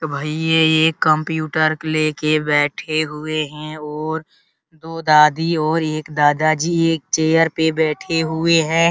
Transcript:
तो भाई ये एक कंप्यूटर ले के बैठे हुए हैं और दो दादी और एक दादाजी एक चेयर पर बैठे हुए हैं।